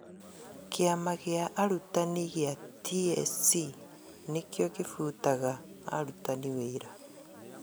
Kĩama gĩa arutani gĩa TSC nĩkĩo kĩbutaga arutani wĩra